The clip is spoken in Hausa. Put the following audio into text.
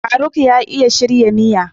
Faruk Amya iya shirya miya.